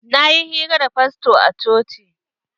Na yi hira da fasto a coci.